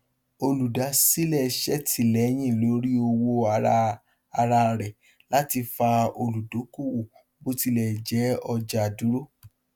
olùdásílẹ ṣètìlẹyìn lórí owó ara ara rẹ láti fa olùdókòwò bó tilẹ jẹ ọjà dúró